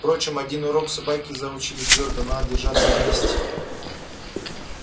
впрочем один урок собаки заучили твёрдо надо держаться вместе